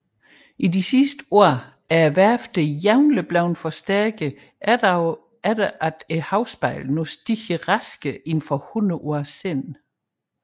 I de sidste år er værfterne jævnligt blevet forstærket efter at havspejlet nu stiger hurtigere end for hundrede år siden